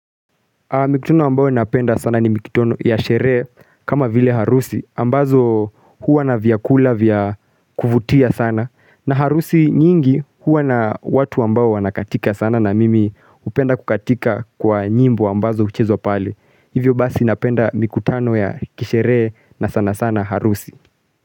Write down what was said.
Mikutano ambayo napenda sana ni mikutano ya sherehe kama vile harusi, ambazo huwa na vyakula vya kuvutia sana, na harusi nyingi huwa na watu ambao wanakatika sana na mimi hupenda kukatika kwa nyimbo ambazo huchezwa pale. Hivyo basi napenda mikutano ya kisherehe na sana sana harusi.